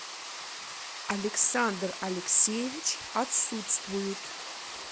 александр алексеевич отсутствуют